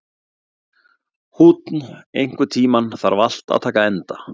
Húnn, einhvern tímann þarf allt að taka enda.